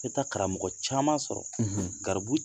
I bɛ taa karamɔgɔ caman sɔrɔ, garibu